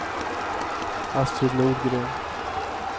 Astrid Nordgren